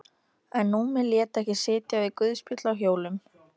En Númi lét ekki sitja við guðspjöll á hjólum.